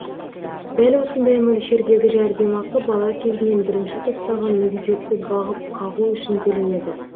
дәл осындай мөлшердегі жәрдемақы бала кезінен бірінші топтағы мүгедекті бағып қағу үшін төленеді